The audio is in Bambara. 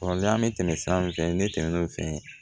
Kɔrɔlen an bɛ tɛmɛ sira min fɛ ne tɛmɛn'o fɛ